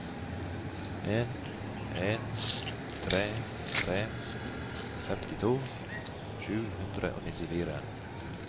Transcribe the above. en en tre tre femtito sju hundre og nittifire